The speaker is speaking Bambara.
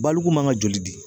Baliku man ka joli di.